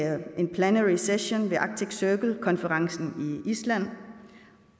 en plenary session ved arctic circle konferencen i island